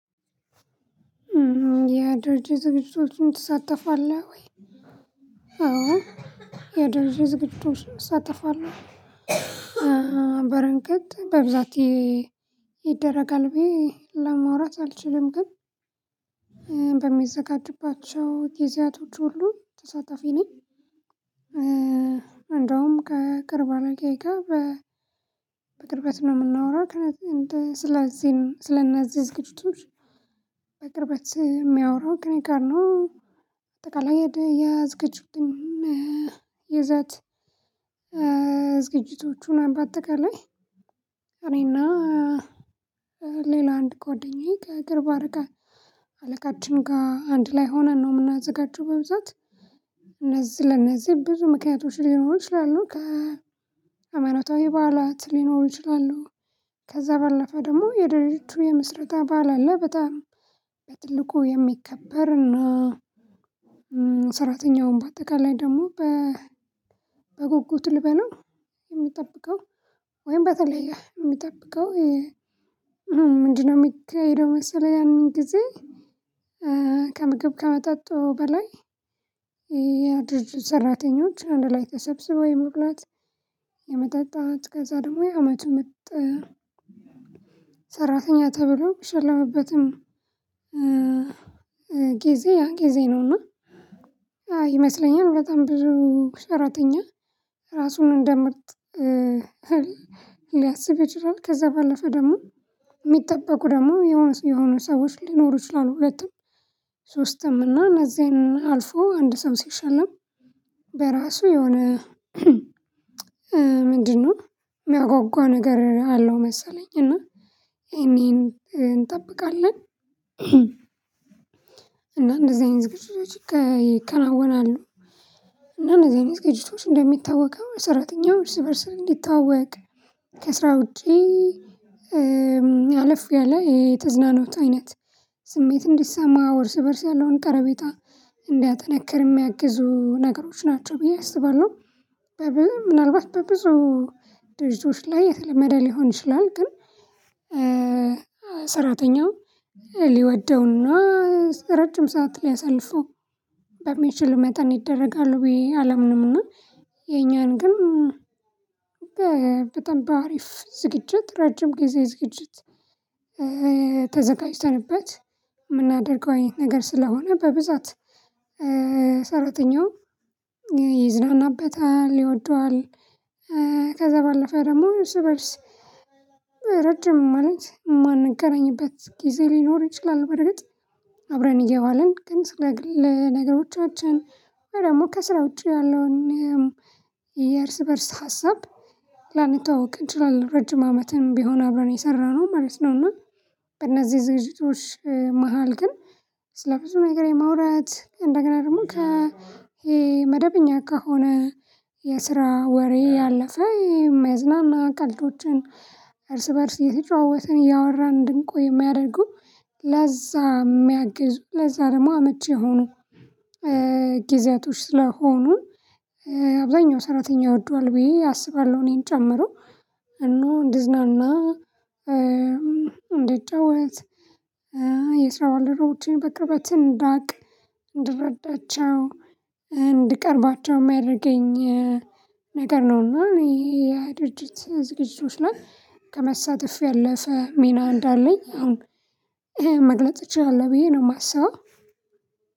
ያድርጅ ዝግጅቶችን ትሳተፋለህ ወይ? አዎ። ያድርጅ ዝግጁ እሳተፋለሁ። በረንገት በብዛት ይደረጋል ብዬ ለማውራት አልችልም ግን በሚዘጋጅባቸው ጊዜያቶች ሁሉ ተሳታፊ ነኝ። እንደውም ከቅርብ አለቃየ ጋ ጋር በቅርበት ስለምናወራ ስለዚህም ስለእነዚህ ዝግጅቶች በቅርበት የሚያወራው ከእኔ ጋር ነው። በአጠቃላይ የዝግጅቱ ይዘት። ዝግጅቶቹን በአጠቃላይ እኔና ሌላ አንድ ጎደኛዬ ከቅርብ አለቃችን ጋር አንድ ላይ ሆነን ነው የምናዘጋጀው። በብዛት እነዚህ ለእነዚህ ብዙ ምክንያቶች ሊኖሩ ይችላሉ ከ ከ ሃይማኖታዊ በዓላት ሊኖሩ ይችላሉ። ከዛ ባለፈ ደግሞ የድርጅቱ የምስረታ በዓል አለ። በጣም በትልቁ የሚከበር እና ሰራተኛውን በአጠቃላይ ደግሞ በጉጉት ልበለው የሚጠብቀው ወይም በተለየ የሚጠብቀው። ምንድነው የሚያደርገው መሰለህ ያንን ጊዜ። ከምግብ ከመጣጡ በላይ የድርጅት ሰራተኞች አንድ ላይ ተሰብስበው የመብላት የመጠጣት ከዛ ደግሞ የአመቱ ምርጥ ሰራተኛ ተብሎ የሚሸለምበትም ጊዜ ያ ጊዜ ነውና። ይመስለኛል በጣም ብዙ ሰራተኛ ራሱን እንደምርት ሊያስብ ይችላል። ከዛ ባለፈ ደግሞ የሚጠበቁ ደግሞ የሆኑ ሰዎች ሊኖሩ ይችላሉ። ሁለቱም ሶስትም እና እነዚያን አልፎ አንድ ሰው ሲሸለም በራሱ የሆነ ምንድነው የሚያጓጓ ነገር አለው መሰለኝ። እና እኔን እንጠብቃለን። እና እንደዚህ አይነት ዝግጅቶች ይከናወናሉ። እና እንደዚህ አይነት ዝግጅቶች እንደሚታወቀው ሰራተኛው እርስ በእርስ እንዲታወቅ ከስራ ውጪ አለፍ ያለ የተዝናኖት አይነት ስሜት እንዲሰማ እርስ በርስ ያለውን ቀረቤታ እንዳያጠነክር የሚያግዙ ነገሮች ናቸው። ብዬ አስባለሁ። ምናልባት በብዙ ድርጅቶች ላይ የተለመደ ሊሆን ይችላል። ግን ሰራተኛው ሊወደውና ረጅም ሰዓት ሊያሳልፈው በሚችል መጠን ይደረጋሉ ብዬ አላምንምና። እና የኛን ግን በጣም በአሪፍ ዝግጅት ረጅም ጊዜ ዝግጅት ተዘጋጅተንበት የምናደርገው አይነት ነገር ስለሆነ በብዛት ሰራተኛው ይዝናናበታል ይወደዋል። ከዛ ባለፈ ደግሞ ርስበርስ ረጅም ማለት ማንገናኝበት ጊዜ ሊኖር ይችላል። በርግጥ አብረን እየዋልን ግን ስለ ነገሮቻችን ደግሞ ከስራ ውጪ ያለውን የእርስ በእርስ ሀሳብ ላንተዋወቅ እንችላለን ረጅም አመትን ቢሆን አብረን የሰራነው ማለት ነው። እና በእነዚህ ዝግጅቶች መሃል ግን ስለብዙ ነገር የማውራት እንደገና ደግሞ ከመደበኛ ከሆነ የስራ ወሬ ያለፈ የሚያዝናና ቀልዶችን እርስ በእርስ እየተጨዋወትን እያወራን እንድንቆይ የሚያደርጉ። ለዛ የሚያግዙ ለዛ ደግሞ አመቺ የሆኑ ጊዜያቶች ስለሆኑ አብዛኛው ሰራተኛ ይወደዋል ብየ አስባለሁ። እኔን ጨምሮ እና እንድዝናና እንድጫወት የስራ ባልደረቦቼን በቅርበት እንዳያልቅ እንድረዳቸው እንድቀርባቸው የሚያደርገኝ ነገር ነውና። ይሄ የድርጅት ዝግጅቶች ላይ ከመሳተፍ ያለፈ ሚና እንዳለኝ አሁን መግለጽ እችላለሁ ብዬ ነው የማሳየው።